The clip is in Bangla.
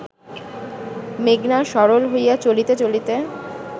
মেঘনা সরল হইয়া চলিতে চলিতে